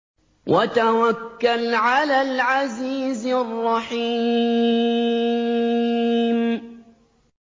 وَتَوَكَّلْ عَلَى الْعَزِيزِ الرَّحِيمِ